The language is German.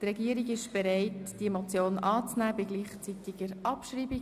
Die Regierung ist bereit, diese Motion anzunehmen und sie gleichzeitig abzuschreiben.